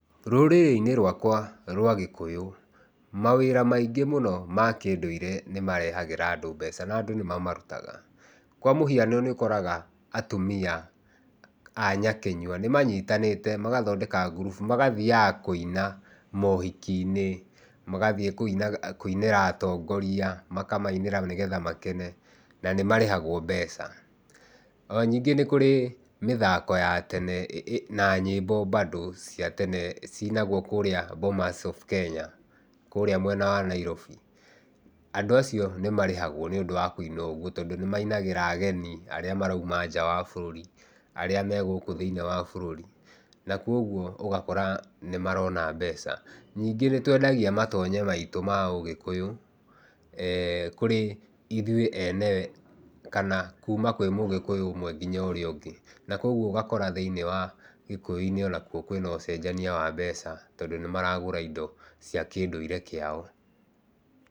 Rũrĩrĩ-inĩ rwakwa rwa gĩkũyũ, mawĩra maingĩ mũno ma kĩundũire nĩ marehagĩra andũ mbeca na andũ nĩ mamarũtaga. Kwa mũhiano nĩukoraga atumia a nyakĩnyua nĩmanyitanĩte magathondeka ngurubu, magathiaga kũina mohiki-inĩ, magathie kũinĩra atongoria, makamainĩra nĩgetha makene, na nĩ marĩhagwo mbeca. Ona ningĩ nĩ kurĩ mĩthako ya tene na nyĩmbo bado ciinagwo kũrĩa Bomas of Kenya, kũrĩa mwena wa Nairobi. Andũ acĩo nĩmarihagwo nĩũndũ wa kũina oguo, tondũ nĩmainagĩra ageni arĩa marauma nja wa bũrũri, arĩa me gũkũ thĩiniĩ wa bũrũri. Na kogwo ũgakora nĩmarona mbeca. Ningĩ nĩtwendagia matonye maĩtu ma ũgĩkũyũ eeh kũrĩ ithuĩ ene, kana kuma kwi mũgĩkũyũ ũmwe ngĩnya ũrĩa ũngĩ. Na kogwo ũgakora thĩiniĩ wa gĩkũyũ-ĩnĩ onakuo kwĩna ũcenjania wa mbeca, tondũ nĩmaragura ĩndo cĩa kĩndũire kĩao.